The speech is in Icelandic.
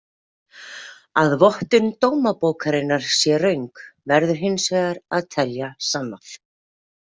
Að vottun dómabókarinnar sé röng verður hins vegar að telja sannað.